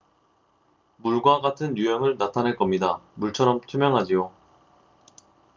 """물과 같은 유형을 나타낼 겁니다. 물처럼 투명하지요.